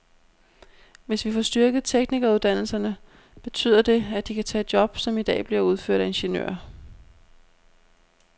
Hvis vi får styrket teknikeruddannelserne, betyder det, at de kan tage job, som i dag bliver udført af ingeniører.